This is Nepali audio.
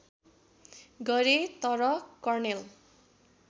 गरे तर कर्णेल